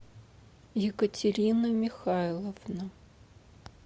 екатерина михайловна